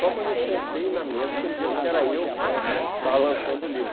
Só quando eu sentei na mesa que eles viram que era eu que estava lançando o livro